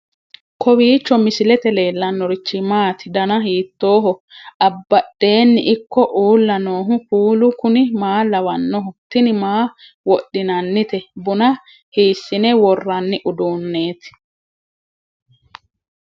kowiicho misilete leellanorichi maati ? dana hiittooho ?abadhhenni ikko uulla noohu kuulu kuni maa lawannoho? tini maa wodhinannite buna hiissine worranni uduunneeti